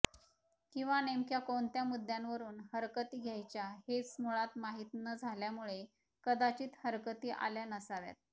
किंवा नेमक्या कोणत्या मुद्दय़ांवरून हरकती घ्यायच्या हेच मुळात माहीत न झाल्यामुळे कदाचित हरकती आल्या नसाव्यात